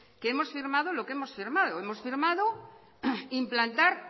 que hemos firmado lo que hemos firmado hemos firmado implantar